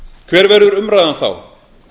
hver verður umræðan þá